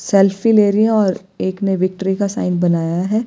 Selfie ले रही है और एक ने विक्ट्री का साइन बनाया है।